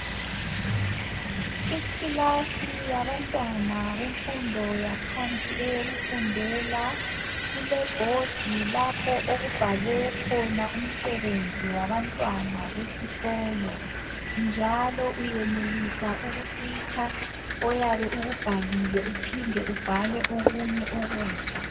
Ikilasi yabantwana benfundo yaphansi eyokufundela .Kulebhodi lapho okubhalwe khona umsebenzi wabantwana besikolo. Njalo uyenelisa ukucitsha oyabe ukubhalile uphinde ubhale okunye okutsha.